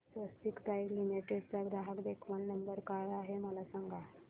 स्वस्तिक pipe limited चा ग्राहक देखभाल नंबर काय आहे मला सांगा